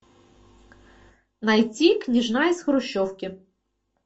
найти княжна из хрущевки